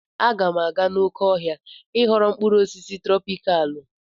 Aga m aga n'oké ọhịa I ghọrọ mkpụrụ osisi trọpikalụ